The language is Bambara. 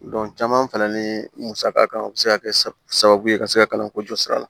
caman fana ni musaka kan o bi se ka kɛ sababu ye ka se ka kalanko jɔsi